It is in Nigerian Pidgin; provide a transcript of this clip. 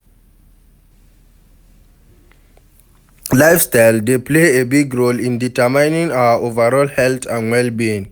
Lifestyle dey play a big role in determining our overall health and well-being.